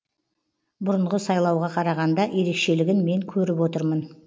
бұрынғы сайлауға қарағанда ерекшелігін мен көріп отырмын